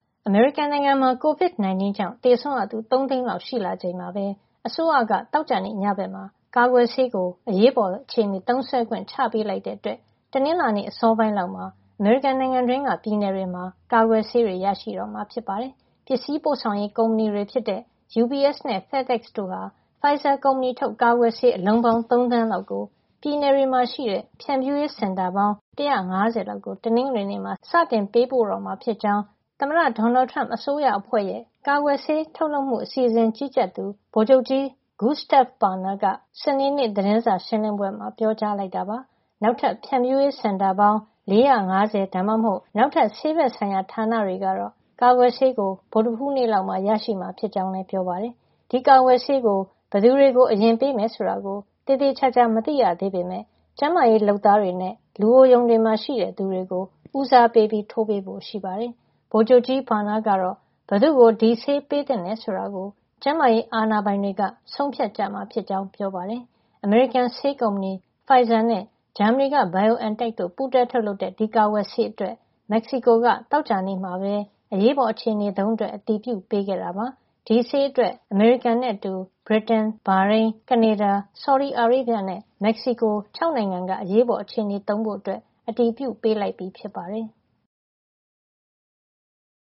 အမေရိကန်နိုင်ငံမှာ COVID-19 ကြောင့် သေဆုံးရသူ ၃ သိန်းလောက် ရှိလာချိန်မှာပဲ အစိုးရက သောကြာနေ့ညဘက်မှာ ကာကွယ်ဆေးကို အရေးပေါ်အခြေနေသုံးစွဲခွင့် ချပေးလိုက်တဲ့အတွက် တနင်္လာနေ့ အစောပိုင်းလောက်မှာ အမေရိကန်နိုင်ငံတွင်းက ပြည်နယ်တွေမှာ ကာကွယ်ဆေးတွေ ရတော့မှာ ဖြစ်ပါတယ်။ ပစ္စည်းပို့ဆောင်ရေး ကုမ္ပဏီတွေဖြစ်တဲ့ UPS နဲ့ FedEx တို့ဟာ Pfizer ကုမ္ပဏီထုတ် ကာကွယ်ဆေး အလုံးပေါင်း ၃ သန်းလောက်ကို ပြည်နယ်တွေမှာရှိတဲ့ ဖြန့်ဖြူးရေးစင်တာပေါင်း ၁၅၀ လောက်ကို တနင်္ဂနွေနေ့မှာ စတင်ပေးပို့တော့မှာဖြစ်ကြောင်း သမ္မတ Donald Trump အစိုးရအဖွဲ့ရဲ့ ကာကွယ်ဆေးထုတ်လုပ်မှု အစီအစဉ် Operation Warp Speed ကို ကြီးကြပ်တဲ့ ဗိုလ်ချုပ်ကြီး Gustave Perna က စနေနေ့ သတင်းစာရှင်းလင်းပွဲမှာ ပြောကြားလိုက်တာပါ။ နောက်ထပ် ဖြန့်ဖြူးရေးစင်တာ ၄၅၀ ဒါမှမဟုတ် နောက်ဆေးဘက်ဆိုင်ရာ ဌာနတွေကတော့ ကာကွယ်ဆေးကို ဗုဒ္ဓဟူးနေ့လောက်မှာ ရရှိမှာ ဖြစ်ကြောင်းလည်း ပြောပါတယ်။ ဒီကာကွယ်ဆေးကို ဘယ်သူတွေကို အရင်ပေးမယ်ဆိုတာ သေသေချာချာ မသိရသေးပေမယ့် ကျန်းမာရေးလုပ်သားတွေနဲ့ လူအိုရုံတွေမှာရှိတဲ့ သူတွေကို ဦးစားပေး ထိုးပေးဖို့ရှိပါတယ်။ ဗိုလ်ချုပ်ကြီး Perna ကတော့ ဘယ်သူ့ကို ဒီဆေးပေးသင့်တယ် ဆိုတာကို ကျန်းမာရေး အာဏာပိုင်တွေ ဆုံးဖြတ်ကြမှာဖြစ်ကြောင်း ပြောပါတယ်။ အမေရိကန် ဆေးကုမ္ပဏီ Pfizer နဲ့ ဂျာမနီက BioNTech တို့ ပူးတွဲထုတ်လုပ်တဲ့ ဒီကာကွယ်ဆေးအတွက် မက္ကဆီကိုက သောကြာနေ့မှာပဲ အရေးပေါ်အခြေနေသုံးအတွက် အတည်ပြုပေးခဲ့တာပါ။ ဒီဆေးအတွက် အမေရိကန်နဲ့အတူ ဗြိတိန်၊ ဘာရိန်း၊ ကနေဒါ၊ ဆော်ဒီအာရေဗျနဲ့ မက္ကဆီကို ၆ နိုင်ငံက အရေးပေါ်အခြေနေသုံးဖို့ အတည်ပြုပေးလိုက်ပြီ ဖြစ်ပါတယ်။